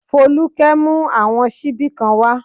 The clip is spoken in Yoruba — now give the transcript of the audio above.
Folúkẹ́ mú àwọn ṣíbí kan wá